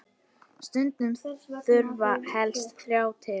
Stundum þurfi helst þrjá til.